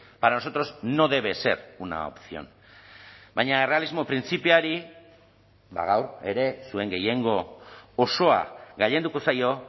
para nosotros no debe ser una opción baina errealismo printzipioari gaur ere zuen gehiengo osoa gailenduko zaio